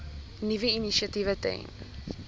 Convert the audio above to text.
nuwe initiatiewe ten